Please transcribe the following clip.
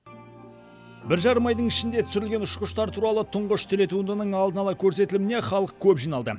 бір жарым айдың ішінде түсірілген ұшқыштар туралы тұңғыш телетуындының алдын ала көрсетіліміне халық көп жиналды